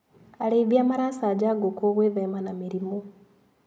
Arĩithia maracanja ngũkũ gwĩthema na mĩrimũ.